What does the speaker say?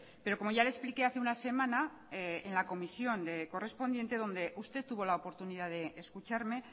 pero como ya le explique hace una semana en la comisión correspondiente donde usted tuvo la oportunidad de escucharme